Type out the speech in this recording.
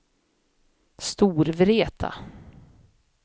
Storvreta